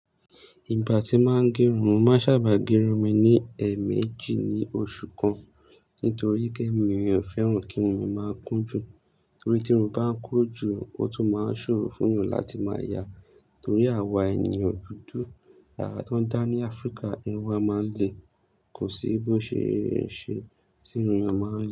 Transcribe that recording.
Ìgbà tí máa ń gẹrun, mo máa sábà gẹrun mi ni ẹ̀ẹ̀mejì ní oṣù kan. Nítorí pé èmi ò fẹ́ràn kí irun mi máa kún jù. Torí tí irun bá ń kún jù ó tún máa ń ṣòro fún yan láti máa yà á. Torí àwa ènìyàn dúdú yàrá tó ń dá ní Áfríkà, irun wa máa ń le. Kò sí bó ṣe eé ṣe tí irun ẹ máa ń lé.